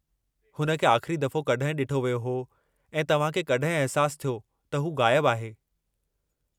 हुन खे आख़िरी दफ़ो कड॒हिं डि॒ठो वियो हो ऐं तव्हां खे कड॒हिं अहिसासु थियो त हू गायबु आहे?